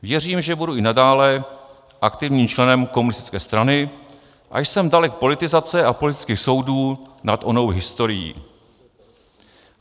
Věřím, že budu i nadále aktivním členem komunistické strany, a jsem dalek politizace a politických soudů nad onou historií.